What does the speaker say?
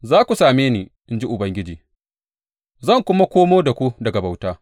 Za ku same ni, in ji Ubangiji, zan kuma komo da ku daga bauta.